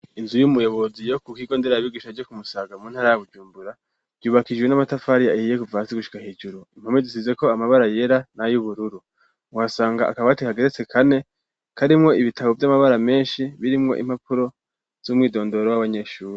Inzu y'umuyobozi yo kwishure ndera vyigisha ryo kumusaga mu ntara ya bujumbura vyubakishijwe n'amatafari ahiye Kuva hasi gushika hejuru impome zisizeko amabara yera nay'ubururu wasanga akabati kageretse kane karimwo ibitabo vy'amabara menshi birimwo impapuro z'umwidondoro w'abanyeshure.